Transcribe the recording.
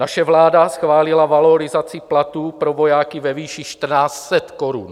Naše vláda schválila valorizaci platů pro vojáky ve výši 1 400 korun.